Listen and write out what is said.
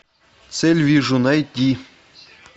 цель вижу найти